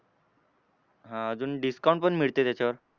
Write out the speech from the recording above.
हां अजून discount पण मिळते त्याच्यावर.